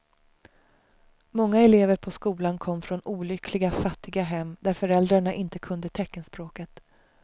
Många elever på skolan kom från olyckliga fattiga hem där föräldrarna inte kunde teckenspråket.